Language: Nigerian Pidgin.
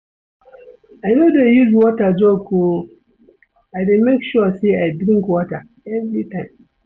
I no dey use water joke o, I dey make sure sey I drink water everytime.